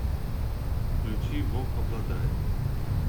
включи вок обладает